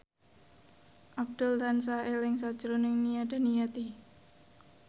Abdul tansah eling sakjroning Nia Daniati